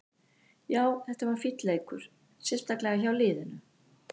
Já, þetta var fínn leikur, sérstaklega hjá liðinu.